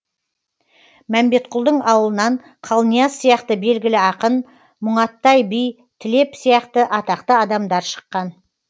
мәмбетқұлдың аулынан қалнияз сияқты белгілі ақын мұңаттай би тілеп сияқты атақты адамдар шыққан